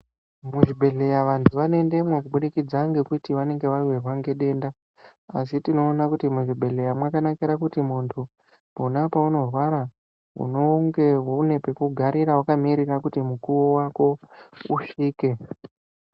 Muzvibhehleya vandu vanoendemo kubudikidza ngekuti vanenge vawirwa nedenda asi tinoona kuti muzvibhehleya makakanaka kuti mundu pona paunorwara unenge une pekugara paunenge wakamirira kuti mukuwo wako usvike